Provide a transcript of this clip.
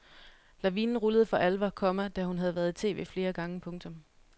Lavinen rullede for alvor, komma da hun havde været i tv flere gange. punktum